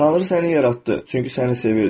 Tanrı səni yaratdı, çünki səni sevirdi.